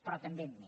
però també amb mi